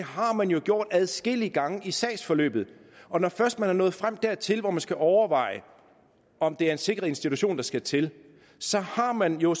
har man jo gjort adskillige gange i sagsforløbet og når først man er nået frem dertil hvor man skal overveje om det er en sikret institution der skal til så har man jo